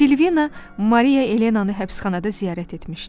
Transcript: Silvina Maria Elenanı həbsxanada ziyarət etmişdi.